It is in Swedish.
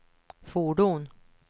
fordon